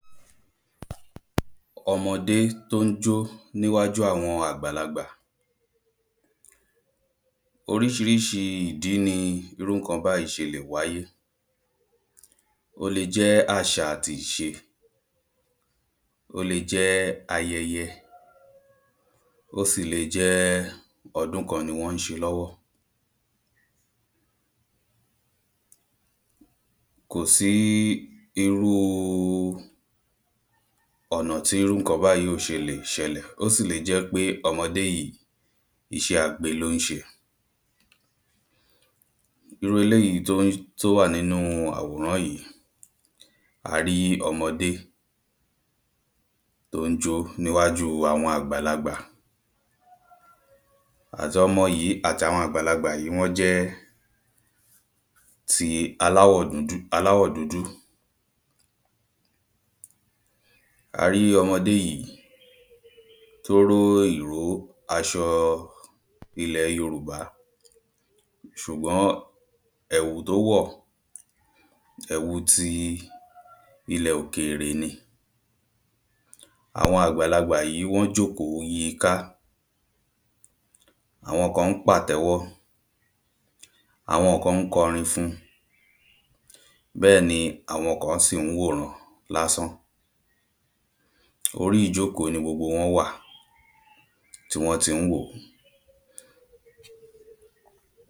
Ọmọdé tó ń jọ́ níwájú àwọn aàgbàlagbà Oríṣirííṣi ìdí ni irú ǹǹkan báyìí ṣe le wáyé, ó le jẹ́ àṣa àti ìṣe, ó le jẹ́ ayẹyẹ, ó sì le jẹ́ ọdún kan ni wọ́n ń ṣe lọ́wọ́ Kò sí irú ọ̀nà tí irú ǹǹkan báyìí ò ṣe lè ṣẹlẹ̀, ó sì le jẹ́ pé ọmọdé yìí iṣẹ́ agbe ló ń ṣe Irú eléyií tó wà nínu àwòrán yìí, a rí ọmọdé tó ń jó níwájú àwọn àgbàlagbà. Àti ọmọ yìí àti àwọn àgbàlagbà yìí, wọ́n jẹ́ ti aláwọ̀ aláwọ̀ dúdú A rí ọmọdé yìí tó ró ìró aṣọ ilẹ̀ yorùbá ṣùgbọ́n ẹ̀wù tó wọ̀ ẹ̀wu ti ilẹ̀ òkèèrè ni Àwọn àgbàlagbà yìí wọ́n jòkó yiká. Àwọn kan ń pàtẹ́wọ́, àwọn kan ń kọ orin fún-un, bẹ́ẹ̀ ni àwọn kan sì ń wòran lásán. Orí ìjókòó ni gbogbo wọ́n wà tí wọ́n ti ń wò